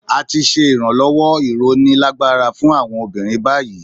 A ti ṣe ìrànlọ́wọ́/ìróni lágbára fún àwọn obìnrin báyìí.